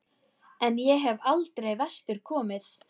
En ég hef aldrei vestur komið.